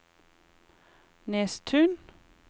Nesttun